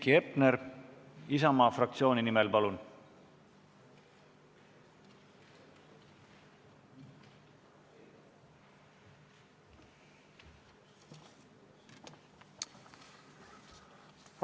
Heiki Hepner Isamaa fraktsiooni nimel, palun!